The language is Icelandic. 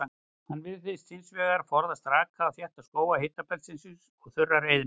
Hann virðist hins vegar forðast raka og þétta skóga hitabeltisins og þurrar eyðimerkur.